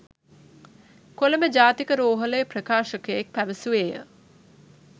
කොළඹ ජාතික රෝහලේ ප්‍රකාශකයෙක් පැවසුවේය.